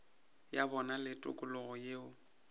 ya bona le tikologo yeo